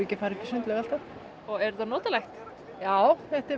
að fara upp í sundlaug alltaf er þetta notalegt já þetta er